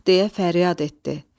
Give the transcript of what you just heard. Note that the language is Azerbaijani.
Ah, deyə fəryad etdi.